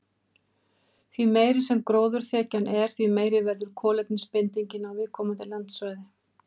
Því meiri sem gróðurþekjan er, því meiri verður kolefnisbindingin á viðkomandi landsvæði.